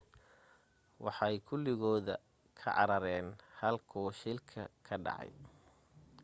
waxay kuligooda ka carareen halkuu shilka ka dhacay